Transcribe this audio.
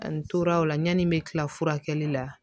Ani toraw la yanni n bɛ kila furakɛli la